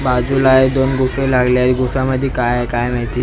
बाजूला आहे दोन गुफे लागले आहे गुफ्यामध्ये काय आहे काय माहिती.